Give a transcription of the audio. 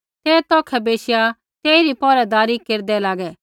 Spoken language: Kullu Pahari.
ते तौखै बैशिया तेइरी पहरैदारी केरदै लागै